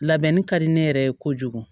Labɛnni ka di ne yɛrɛ ye kojugu